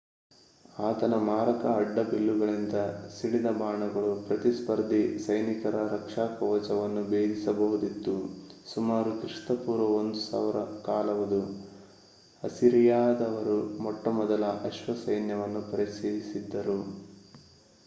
ಆತನ ಮಾರಕ ಅಡ್ಡಬಿಲ್ಲುಗಳಿಂದ ಸಿಡಿದ ಬಾಣಗಳು ಪ್ರತಿಸ್ಪರ್ಧಿ ಸೈನಿಕರ ರಕ್ಷಾಕವಚವನ್ನು ಭೇದಿಸಬಹುದಿತ್ತು ಸುಮಾರು ಕ್ರಿಪೂ 1000 ಕಾಲವದು ಅಸಿರಿಯಾದವರು ಮೊಟ್ಟಮೊದಲ ಅಶ್ವಸೈನ್ಯವನ್ನು ಪರಿಚಯಿಸಿದ್ದರು